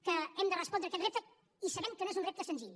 que hem de respondre aquest repte i sabem que no és un repte senzill